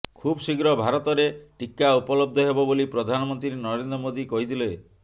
ଖୁବଶୀଘ୍ର ଭାରତରେ ଟିକା ଉପଲବ୍ଧ ହେବ ବୋଲି ପ୍ରଧାନମନ୍ତ୍ରୀ ନରେନ୍ଦ୍ର ମୋଦି କହିଥିଲେ